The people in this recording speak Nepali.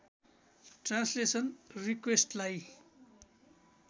ट्रान्सलेसन रिक्वेस्टलाई